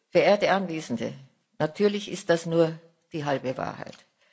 Verehrte Anwesende, natürlich ist das nur die halbe Wahrheit.